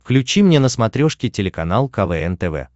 включи мне на смотрешке телеканал квн тв